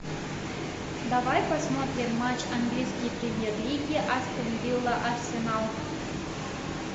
давай посмотрим матч английской премьер лиги астон вилла арсенал